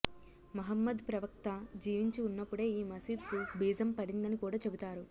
మహమ్మద్ ప్రవక్త జీవించి ఉన్నప్పుడే ఈ మసీద్ కు బీజం పడిందని కూడా చెబుతారు